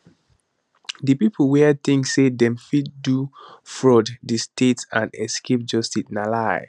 di pipo wia tink say dem fit to defraud di state and escape justice na lie